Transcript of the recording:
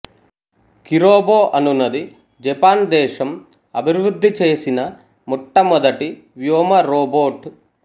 Kirobo అనునది Japan దేశం అభివృద్ధి చేసిన మొట్టమొదటి వ్యోమ రోబోట్